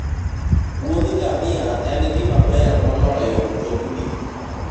wuodh ngamia en gima ber moloyo mtokni.